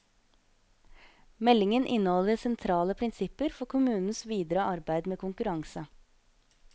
Meldingen inneholder sentrale prinsipper for kommunens videre arbeid med konkurranse.